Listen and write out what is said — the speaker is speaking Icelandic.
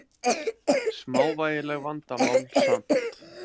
Smávægilegt vandamál samt.